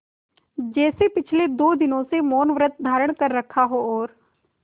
जैसे पिछले दो दिनों से मौनव्रत धारण कर रखा हो और